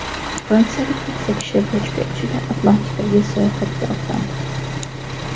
Fransiyalik keksa kishi bochka ichida Atlantikaga sayohatga otlandi.